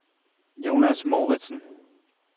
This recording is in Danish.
Jonas Mouritsen